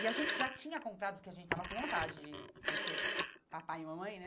E a gente já tinha comprado, porque a gente estava com vontade de de ser papai e mamãe, né?